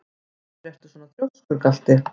Af hverju ertu svona þrjóskur, Galti?